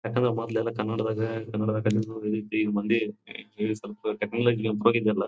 ಯಾಕಂದ್ರೆ ಮೊದ್ಲೆಲ್ಲಾ ಕನ್ನಡದಾಗೆ ಕನ್ನಡ ಕಲಿಯುವ ರೀತಿ ಮಂದಿ .]